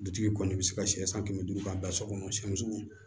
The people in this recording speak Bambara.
Dutigi kɔni bɛ se ka sɛ san kɛmɛ duuru k'a bila so kɔnɔ siyɛn sugu